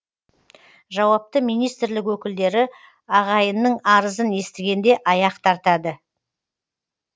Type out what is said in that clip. жауапты министрлік өкілдері ағайынның арызын естігенде аяқ тартады